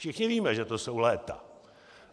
Všichni víme, že to jsou léta.